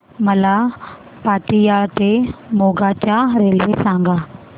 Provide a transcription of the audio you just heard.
मला पतियाळा ते मोगा च्या रेल्वे सांगा